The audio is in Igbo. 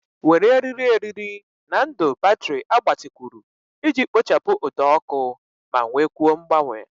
Were eriri eriri na ndụ batrị agbatịkwuru iji kpochapụ ụdọ ọkụ ma nwekwuo mgbanwe.